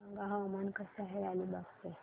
सांगा हवामान कसे आहे अलिबाग चे